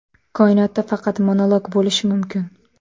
Koinotda faqat monolog bo‘lishi mumkin” .